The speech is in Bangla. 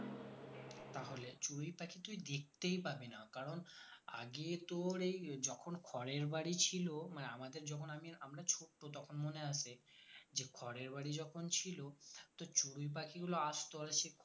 চড়ুই পাখি তুই দেখতেই পাবি না কারণ আগে তোর এই যখন খড় এর বাড়ি ছিল মানে আমাদের যখন আগে আমরা ছোট্ট তখন মনে আছে যে খড় এর বাড়ি যখন ছিল তো চড়ুই পাখিগুলো আসতো আর সেই খড়ে